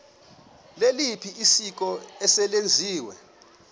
liliphi isiko eselenziwe